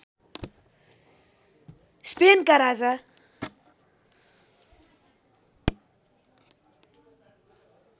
स्पेनका राजा